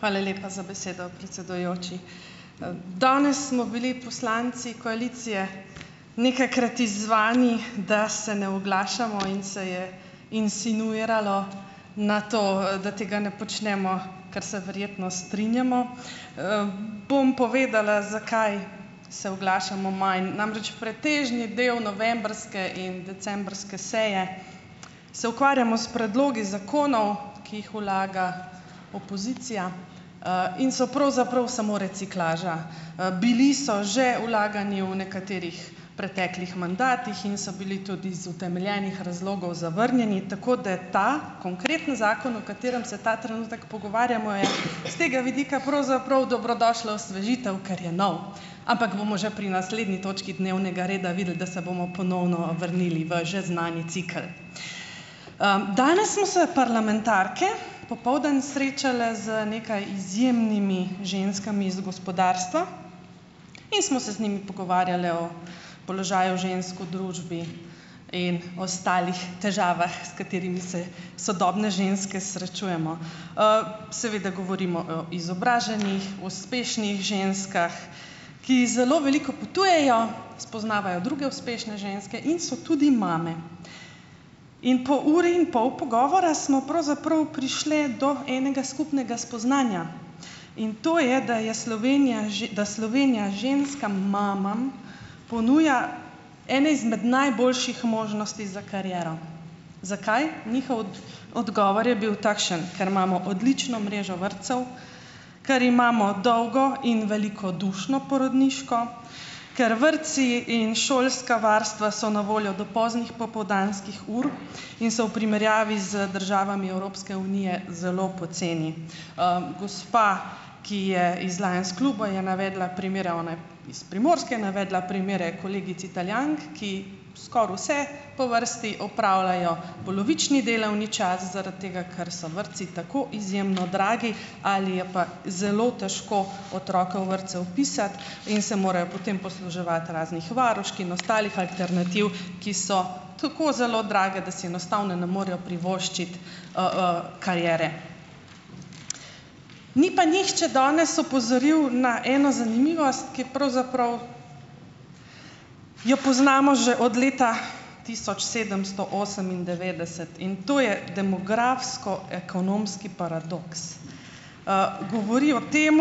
Hvala lepa za besedo, predsedujoči! danes smo bili poslanci koalicije nekajkrat izzvani, da se ne oglašamo in se je insinuiralo na to, da tega ne počnemo, ker se verjetno strinjamo. bom povedala, zakaj se oglašamo manj. Namreč, pretežni del novembrske in decembrske seje se ukvarjamo s predlogi zakonov, ki jih vlaga opozicija, in so pravzaprav samo reciklaža. bili so že vlagani v nekaterih preteklih mandatih in so bili tudi iz utemeljenih razlogov zavrnjeni, tako da ta konkretni zakon, o katerem se ta trenutek pogovarjamo, je s tega vidika pravzaprav dobrodošla osvežitev, ker je nov, ampak bomo že pri naslednji točki dnevnega reda videli, da se bomo ponovno vrnili v že znani cikel. danes smo se parlamentarke popoldan srečale z nekaj izjemnimi ženskami iz gospodarstva in smo se z njimi pogovarjale o položaju žensk v družbi in ostalih težavah, s katerimi se sodobne ženske srečujemo. seveda govorimo o izobraženih, uspešnih ženskah, ki zelo veliko potujejo, spoznavajo druge uspešne ženske in so tudi mame. In po uri in pol pogovora smo pravzaprav prišli do enega skupnega spoznanja in to je, da je Slovenija, da Slovenija ženskam mamam ponuja ene izmed najboljših možnosti za kariero. Zakaj? Njihov odgovor je bil takšen, ker imamo odlično mrežo vrtcev, ker imamo dolgo in velikodušno porodniško, ker vrtci in šolska varstva so na voljo do poznih popoldanskih ur in so v primerjavi z državami Evropske unije zelo poceni. gospa, ki je iz Lans kluba je navedla primere, ona je iz Primorske, navedla primere kolegic Italijank, ki skoraj vse po vrsti opravljajo polovični delovni čas zaradi tega, ker so vrtci tako izjemno dragi ali je pa zelo težko otroke v vrtce vpisati, in se morajo potem posluževati raznih varušk in ostalih alternativ, ki so tako zelo drage, da si enostavno ne morejo privoščiti, kariere. Ni pa nihče danes opozoril na eno zanimivost, ki jo pravzaprav jo poznamo že od leta tisoč sedemsto osemindevetdeset in to je demografsko- ekonomski paradoks. govori o tem,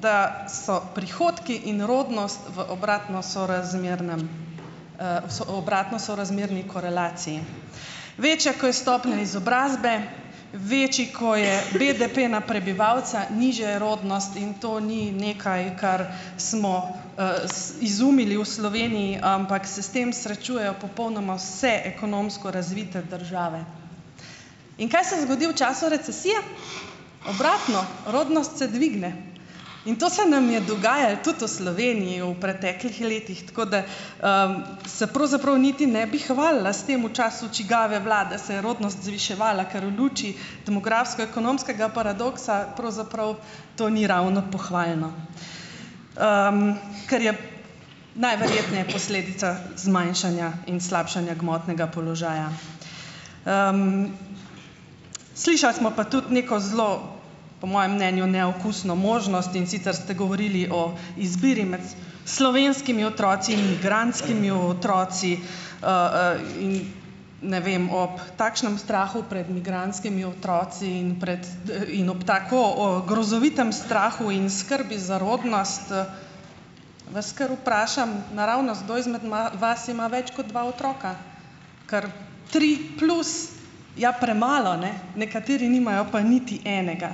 da so prihodki in rodnost v obratno sorazmernem, obratno sorazmerni korelaciji. Večja, ko je stopnja izobrazbe, večji, ko je BDP na prebivalca, nižja je rodnost, in to ni nekaj, kar smo, izumili v Sloveniji, ampak se s tem srečujejo popolnoma vse ekonomsko razvite države. In kaj se zgodi v času recesije? Obratno, rodnost se dvigne in to se nam je dogajalo tudi v Sloveniji v preteklih letih, tako da, se pravzaprav niti ne bi hvalila s tem, v času čigave vlade se je rodnost zviševala, ker v luči demografsko-ekonomskega paradoksa pravzaprav to ni ravno pohvalno, ker je najverjetneje posledica zmanjšanja in slabšanja gmotnega položaja. slišali smo pa tudi neko zelo, po mojem mnenju neokusno možnost, in sicer ste govorili o izbiri med slovenskimi otroci in migrantskimi otroci, in ne vem, ob takšnem strahu pred migrantskimi otroci in proti, in ob tako, grozovitem strahu in skrbi za rodnost, vas kar vprašam naravnost, kdo izmed vas ima več kot dva otroka. Kar tri plus ja premalo, ne. Nekateri nimajo pa niti enega.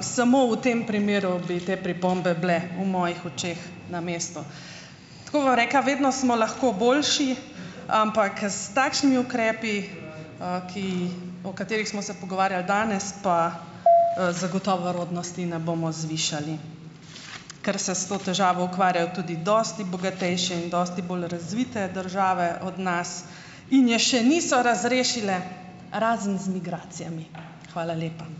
samo v tem primeru bi te pripombe bile v mojih očeh na mestu. Tako bom rekla, vedno smo lahko boljši, ampak s takšnimi ukrepi, ki jih, o katerih smo se pogovarjali danes, pa, zagotovo rodnosti ne bomo zvišali, ker se s to težavo ukvarjajo tudi dosti bogatejše in dosti bolj razvite države od nas in je še niso razrešile, razen z migracijami. Hvala lepa.